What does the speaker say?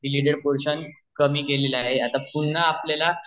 portion कमी केले आहे आता पुन्हा आपल्याला